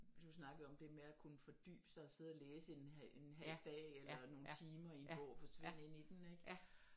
Du snakkede om det med og kunne fordybe sig sidde og læse en halv dag eller nogle timer i en bog og forsvinde ind i den ikke